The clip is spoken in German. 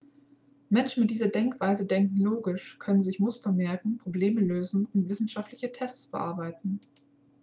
menschen mit dieser denkweise denken logisch können sich muster merken probleme lösen und wissenschaftliche tests bearbeiten